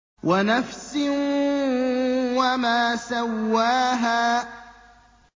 وَنَفْسٍ وَمَا سَوَّاهَا